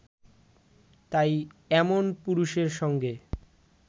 তাই এমন পুরুষের সঙ্গে